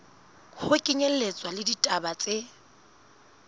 ho kenyelletswa le ditaba tse